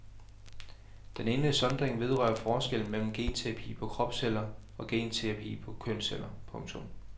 Den ene sondring vedrører forskellen mellem genterapi på kropsceller og genterapi på kønsceller. punktum